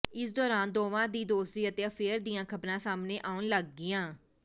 ਇਸ ਦੌਰਾਨ ਦੋਵਾਂ ਦੀ ਦੋਸਤੀ ਅਤੇ ਅਫੇਅਰ ਦੀਆਂ ਖਬਰਾਂ ਸਾਹਮਣੇ ਆਉਣ ਲੱਗੀਆਂ